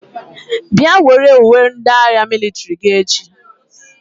Bịa were uwe ndị agha mịlịtrị gị echi!